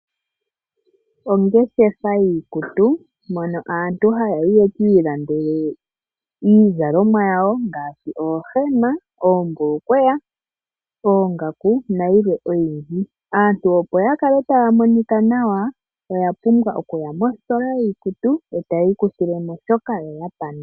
Ongeshefa yii kutu, mono aantu ha ya yi yekii landele iizalomwa yawo ngaashi oohema, oombulukweya oongaku na yilwe oyindji. Aantu opo ya kale taya monika nawa, oya pumbwa oku ya mostola yiikutu etayi ikuthilemo shoka yo yapanda.